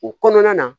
O kɔnɔna na